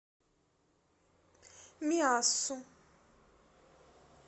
миассу